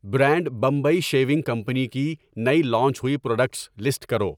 Brand Bombay shaving company کی نئی launch ہوئی پراڈکٹس لسٹ کرو ؟